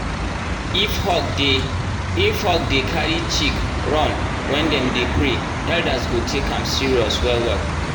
if hawk dey if hawk dey carry chick run when dem dey pray elders go take am serious well well.